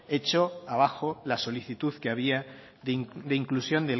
echó abajo la solicitud que había de inclusión